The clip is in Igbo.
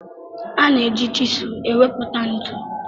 A na-eji chịsụ enweputa ntu